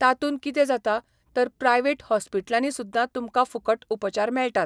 तातून कितें जाता तर प्रायवेट हॉस्पिट्लांनी सुद्दां तुमकां फुकट उपचार मेळटात.